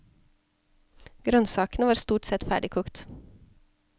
Grønnsakene var stort sett ferdig kokt.